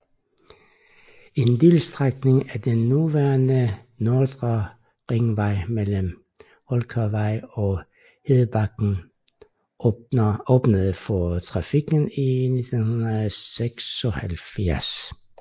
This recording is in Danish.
En delstrækning af den nuværende Nordre Ringvej mellem Houlkærvej og Hedebakken åbnede for trafik i 1976